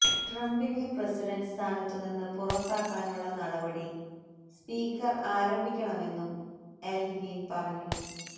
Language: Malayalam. ട്രംപിനെ പ്രസിഡന്റ് സ്ഥാനത്തുനിന്ന് പുറത്താക്കാനുള്ള നടപടി സ്പീക്കർ ആരംഭിക്കണമെന്നും എൽഗ്രീൻ പറഞ്ഞു